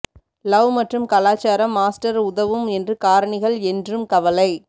love மற்றும் கலாச்சாரம் master உதவும் என்று காரணிகள் என்றும் கவலை